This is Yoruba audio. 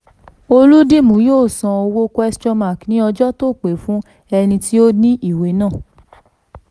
olùdìmú yóó san owó ní ọjọ́ tó pé fún ẹni tí ó ní ìwé náà.